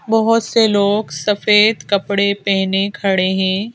बहुत से लोग सफेद कपड़े पहने खड़े हैं।